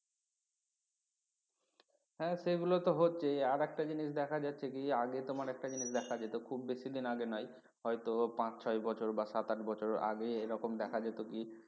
হ্যাঁ সেগুলো তো হচ্ছেই আর একটা জিনিস দেখা যাচ্ছে কি আগে তোমার একটা জিনিস দেখা যেত খুব বেশি দিন আগে নয় হয়তো পাঁচ ছয় বছর বা সাত আট বছর আগে এরকম দেখা যেত কি